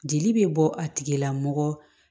Jeli bɛ bɔ a tigila mɔgɔ